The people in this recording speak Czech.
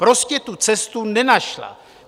Prostě tu cestu nenašla.